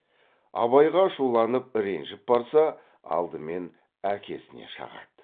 абайға ашуланып ренжіп барса алдымен әкесіне шағады